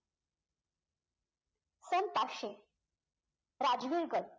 सन पाचशे राजवीर गड